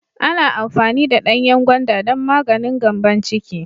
Ana amfani da danyen gwanda don maganin Gambon ciki.